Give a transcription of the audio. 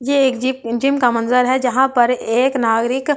ये एक gym gym का मंज़र है जहां पर एक नागरिक हाँ अपनी --